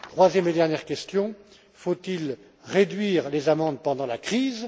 Troisième et dernière question faut il réduire les amendes pendant la crise?